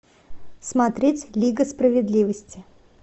смотреть лига справедливости